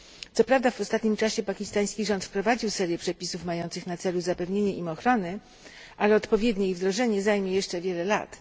Co prawda w ostatnim czasie pakistański rząd wprowadził serię przepisów mających na celu zapewnienie im ochrony, ale odpowiednie ich wdrożenie zajmie jeszcze wiele lat.